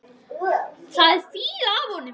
Það er fýla af honum.